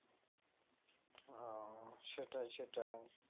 উম সেটাই সেটাই